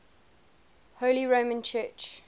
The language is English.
holy roman church